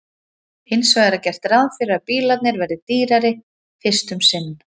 hins vegar er gert ráð fyrir að bílarnir verði dýrari fyrst um sinn